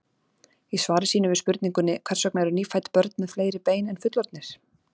Í svari sínu við spurningunni Hvers vegna eru nýfædd börn með fleiri bein en fullorðnir?